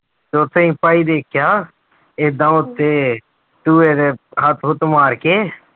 ਤੇ ਉੱਥੇ ਅਸੀਂ ਭਾਈ ਦੇਖਿਆ ਏਦਾਂ ਉੱਥੇ ਹੱਥ ਹੁੱਥ ਮਾਰ ਕੇ